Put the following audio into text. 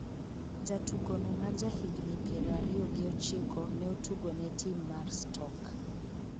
jatugono ma ja higni piero ariyo gi ochiko ne otugo ne tim mar stoke